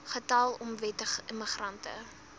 getal onwettige immigrante